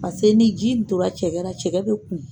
Pase ni ji in tora cɛkɛra cɛkɛ bɛ kumu.